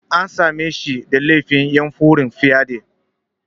An same shi da laifin yunƙurin fyade.